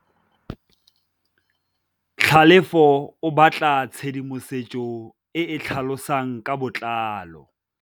Tlhalefô o batla tshedimosetsô e e tlhalosang ka botlalô.